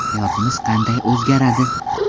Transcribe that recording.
Hayotimiz qanday o‘zgaradi?.